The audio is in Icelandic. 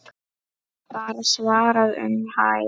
var svarað um hæl.